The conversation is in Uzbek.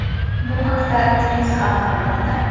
Bu haqda Twizz xabar qilmoqda .